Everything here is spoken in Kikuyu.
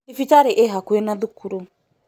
Thibitarĩ ĩ hakuhĩ na thukuru